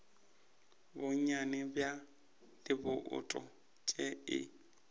bonnyane bja dibouto tše e